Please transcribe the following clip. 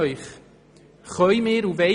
Ich frage Sie: